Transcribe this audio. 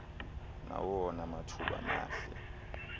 nawona mathuba mahle